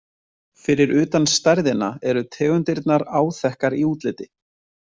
Fyrir utan stærðina eru tegundirnar áþekkar í útliti.